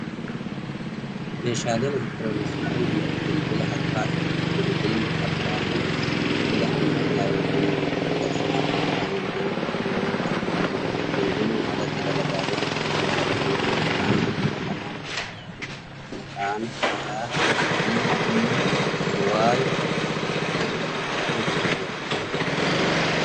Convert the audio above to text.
Meeshaaleen elektirooniksii kun bilbila harkaa dha. Bilbilli harkaa kun bilbila ammayyaa yookin bilbila ismaartii jedhamuun beekamu yoo ta'u, bilbiluun alatti dalagaalee hedduu kan dalaguu dha. Maqaan bilbila kanaa maqaan isaa Viivii Y 1100 jedhama.